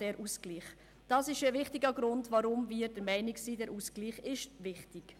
Das ist ein wichtiger Grund, weshalb wir der Meinung sind, dieser Ausgleich sei wichtig.